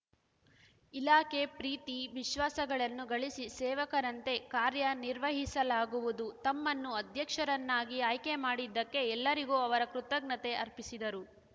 ಇಲಾಖೆ ಪ್ರೀತಿ ವಿಶ್ವಾಸಗಳನ್ನು ಗಳಿಸಿ ಸೇವಕರಂತೆ ಕಾರ್ಯನಿರ್ವಹಿಸಲಾಗುವುದು ತಮ್ಮನ್ನು ಅಧ್ಯಕ್ಷರನ್ನಾಗಿ ಆಯ್ಕೆ ಮಾಡಿದ್ದಕ್ಕೆ ಎಲ್ಲರಿಗೂ ಅವರು ಕೃತಜ್ಞತೆ ಅರ್ಪಿಸಿದರು